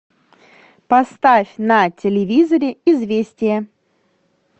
поставь на телевизоре известия